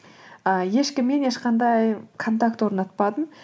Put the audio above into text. ы ешкіммен ешқандай контакт орнатпадым